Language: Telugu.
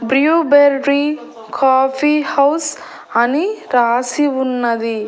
బ్రియో బేర్రీ కాఫీ హౌస్ అని రాసి ఉన్నది.